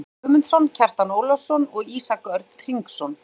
Bogi Guðmundsson, Kjartan Ólafsson og Ísak Örn Hringsson.